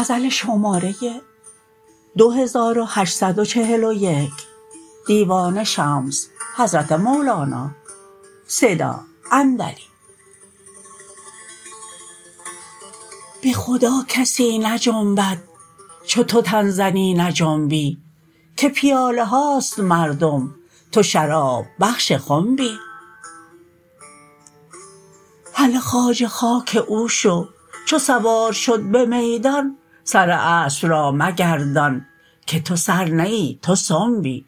به خدا کسی نجنبد چو تو تن زنی نجنبی که پیاله هاست مردم تو شراب بخش خنبی هله خواجه خاک او شو چو سوار شد به میدان سر اسب را مگردان که تو سر نه ای تو سنبی